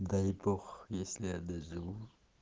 дай бог если я доживу